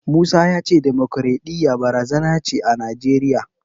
Musa ya ce demokwaraɗiyya barazana ce a Najeriya.